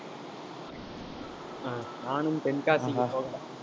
ஆஹ் நானும் தென்காசிக்கு போகல